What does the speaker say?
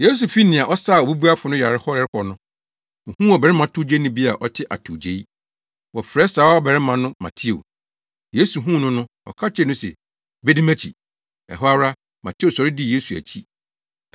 Yesu fi nea ɔsaa obubuafo no yare hɔ rekɔ no, ohuu ɔbarima towgyeni bi a ɔte atowgyei. Wɔfrɛ saa ɔbarima no Mateo. Yesu huu no no, ɔka kyerɛɛ no se, “Bedi mʼakyi.” Ɛhɔ ara, Mateo sɔre dii Yesu akyi.